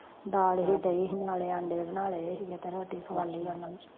ਦਾਲ ਹੀ ਦਹੀਂ ਸੀ ਨਾਲੇ ਆਂਡੇ ਬਣਾਲੈ ਸੀ ਜਦੋਂ ਰੋਟੀ ਖਵਾਂਲੀ ਓਹਨਾਂ ਨੂੰ